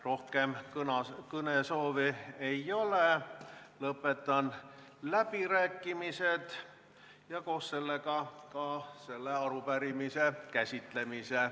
Rohkem kõnesoove ei ole, lõpetan läbirääkimised ja koos sellega ka arupärimise käsitlemise.